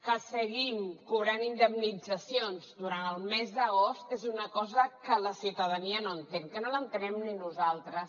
que seguim cobrant indemnitzacions durant el mes d’agost és una cosa que la ciutadania no entén que no l’entenem ni nosaltres